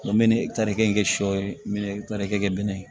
N bɛ ne tari kɛ sɔ n bɛ tarikɛ bɛnɛ ye